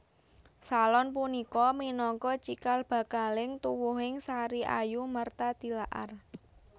Salon punika minangka cikal bakaling tuwuhing Sariayu Martha Tilaar